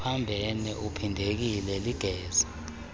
uphambene ubhidekile ligeza